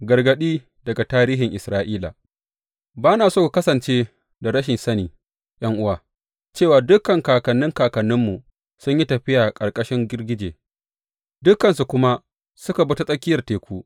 Gargaɗi daga tarihin Isra’ila Ba na so ku kasance da rashin sani, ’yan’uwa, cewa dukan kakannin kakanninmu sun yi tafiya a ƙarƙashin girgije, dukansu kuma suka bi ta tsakiyar teku.